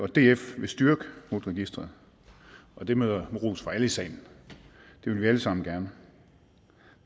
df vil styrke rut registeret og det møder ros fra alle i salen det vil vi alle sammen gerne